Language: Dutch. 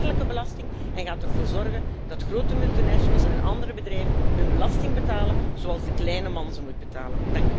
Dit is een eerlijke belasting en gaat ervoor zorgen dat grote multinationals en andere bedrijven hun belasting gaan betalen zoals de kleine man ze moet betalen.